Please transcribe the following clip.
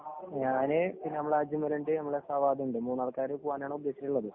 ഞാന്, പിന്നെ നമ്മുടെ അജ്മലുണ്ട്, നമ്മുടെ ഫവാദ് ഉണ്ട്. മൂന്നാള്‍ക്കാര് പോകാനാണുദ്ദേശിച്ചിട്ടുള്ളത്‌.